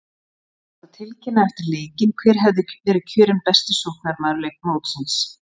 Það átti að tilkynna eftir leikinn hver hefði verið kjörinn besti sóknarmaður mótsins!